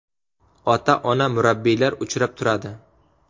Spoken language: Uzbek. Ota-ona murabbiylar uchrab turadi.